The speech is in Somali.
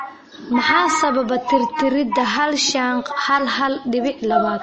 Maxaa sababa tirtiridda hal shan q hal hal dibic labaad?